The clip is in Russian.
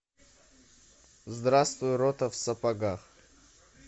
здравствуй рота в сапогах